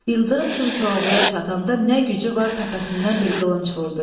İldırım kimi Koroğluya çatanda nə gücü var təpəsindən bir qılınc vurdu.